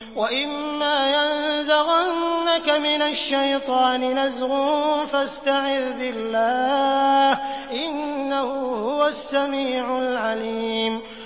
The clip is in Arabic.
وَإِمَّا يَنزَغَنَّكَ مِنَ الشَّيْطَانِ نَزْغٌ فَاسْتَعِذْ بِاللَّهِ ۖ إِنَّهُ هُوَ السَّمِيعُ الْعَلِيمُ